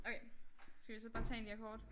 Okay skal vi så bare tage en af de her kort?